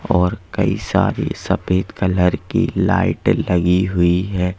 और कई सारे सफेद कलर की लाइटें लगी हुई हैं।